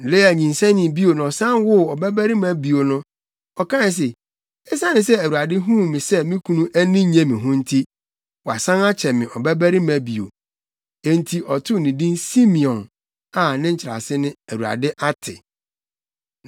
Lea nyinsɛnee bio na ɔsan woo ɔbabarima bio no, ɔkae se, “Esiane sɛ Awurade huu sɛ me kunu ani nnye me ho nti, wasan akyɛ me ɔbabarima bio.” Enti, ɔtoo ne din Simeon a nkyerɛase ne “ Awurade ate!”